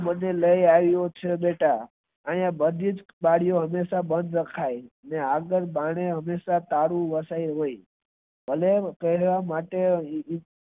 મને લઈ આવીયો છે બેટા અહીંયા બધી જ બારી ઓ હંમેશા બંધ રખાય અનેઆગળ બારણે તાળું હંમેશા હોય અને તેને કરવા માટે